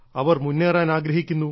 അവർ മുന്നേറാൻ ആഗ്രഹിക്കുന്നു